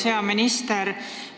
Hea minister!